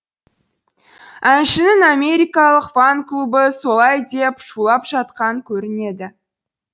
әншінің америкалық фан клубы солай деп шулап жатқан көрінеді